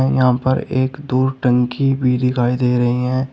यहां पर एक दो टंकी भी दिखाई दे रही हैं।